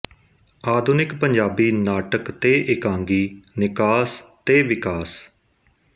ਆਧੁਨਿਕ ਪੰਜਾਬੀ ਨਾਟਕ ਤੇ ਇਕਾਂਗੀ ਨਿਕਾਸ ਤੇ ਵਿਕਾਸ